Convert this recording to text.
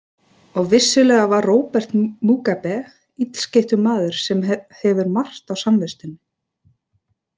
Og vissulega er Robert Mugabe illskeyttur maður sem hefur margt á samviskunni.